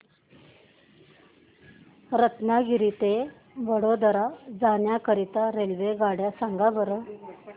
रत्नागिरी ते वडोदरा जाण्या करीता रेल्वेगाड्या सांगा बरं